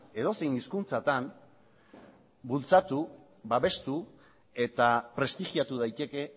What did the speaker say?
edozein hizkuntzatan bultzatu babestu eta prestigiatu daiteke